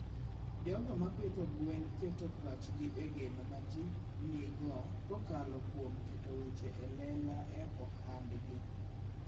jogo ma pidho gwen keto pachgi e geno ma ji nigo kokalo kuom keto weche e lela e ohandgi.